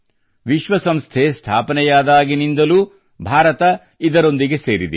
ವಿಶ್ವ ಸಂಸ್ಥೆ ಸ್ಥಾಪನೆಯಾದಾಗಿನಿಂದಲೂ ಭಾರತ ಇದರೊಂದಿಗೆ ಸೇರಿದೆ